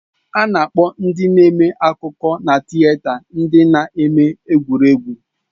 A na-akpọ ndị na-eme akụkọ na tịeta ndị na-eme egwuregwu.